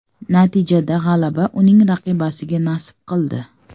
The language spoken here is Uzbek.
Natijada g‘alaba uning raqibasiga nasib qildi.